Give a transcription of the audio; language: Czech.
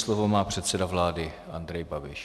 Slovo má předseda vlády Andrej Babiš.